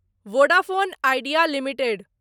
Vodafone Idea limited